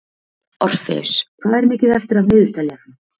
Orfeus, hvað er mikið eftir af niðurteljaranum?